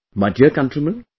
My dear countrymen,